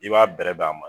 I b'a bɛrɛb' a ma